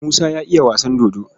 Musa ya iya wasan dodo.